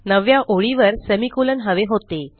नवव्या ओळीवर सेमिकोलॉन हवे होते